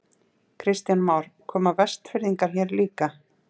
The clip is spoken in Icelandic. Kristján Már: Koma Vestfirðingar hér líka?